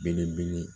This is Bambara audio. Belebele